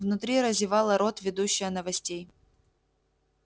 внутри разевала рот ведущая новостей